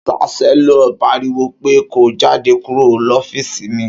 Ṣàsẹlọ pàríwó pẹ kó; Jàdé kúrò lọfísì mí!